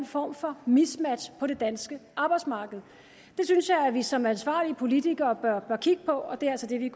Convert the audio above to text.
form for mismatch på det danske arbejdsmarked det synes jeg at vi som ansvarlige politikere bør kigge på og det er altså det vi